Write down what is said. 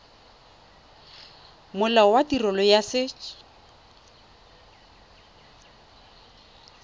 molao wa tirelo ya set